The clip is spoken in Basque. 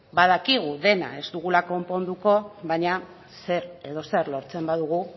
badakigu dena ez dugula konponduko baina zer edo zer lortzen badugu